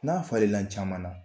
N'a falela caman na